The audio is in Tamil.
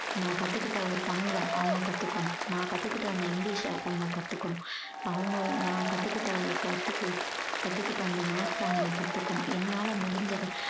நான் கத்துக்கிட்ட ஒரு தமிழ அவங்க கத்துக்கணும். நான் கத்துக்கிட்ட அந்த english அ அவங்க கத்துக்கணும். அவங்க நான் கத்துக்கிட்ட கத்துக்கு~ கத்துக்கிட்ட அந்த maths அ அவங்க கத்துக்கணும். என்னால முடிஞ்சது